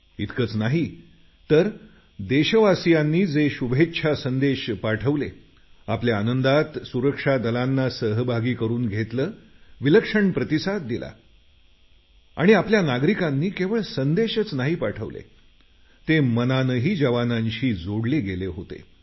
इतकच नाही तर देशवासियांनी जे शुभेच्छा संदेश पाठवले आपल्या आनंदात सुरक्षा दलांना सहभागी करून घेतलं विलक्षण प्रतिसाद दिला आणि आपल्या नागरिकांनी केवळ संदेशच नाही पाठवले ते मनानेही जवानांशी जोडले गेले होते